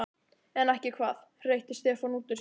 En ekki hvað? hreytti Stefán út úr sér.